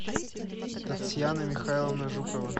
татьяна михайловна жукова